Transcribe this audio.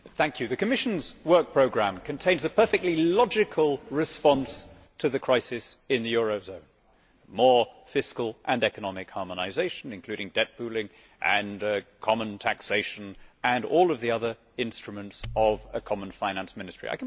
Mr President, the Commission's work programme contains a perfectly logical response to the crisis in the eurozone more fiscal and economic harmonisation, including debt pooling, and common taxation and all of the other instruments of a common finance ministry.